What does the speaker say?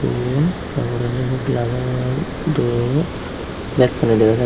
rum taporendi inni gelajor dup bekkani degajar.